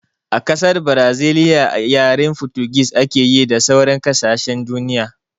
A ƙasar braziliya yaren fotugis ake yi da sauran kasashen duniya